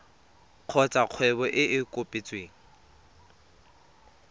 kgotsa kgwebo e e kopetsweng